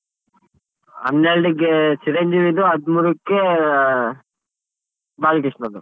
ಹನ್ನೆರ್ಡಕ್ಕೆ ಚಿರಂಜೀವಿದು ಹದ್ಮೂರಕ್ಕೆ ಬಾಲ್ಕೃಷ್ಣದು.